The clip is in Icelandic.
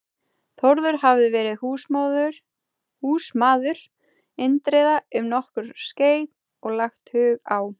Þórður hafði verið húsmaður Indriða um nokkurt skeið og lagt hug á